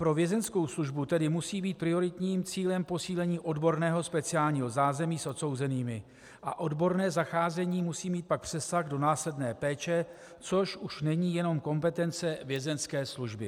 Pro vězeňskou službu tedy musí být prioritním cílem posílení odborného speciálního zázemí s odsouzenými a odborné zacházení musí mít pak přesah do následné péče, což už není jenom kompetence vězeňské služby.